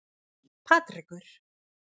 Patrekur